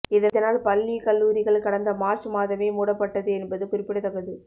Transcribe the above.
இதனால் பள்ளி கல்லூரிகள் கடந்த மார்ச் மாதமே மூடப்பட்டது என்பது குறிப்பிடத்தக்கது